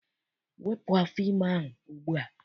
Wepụ afọ ime ahụ ugbua!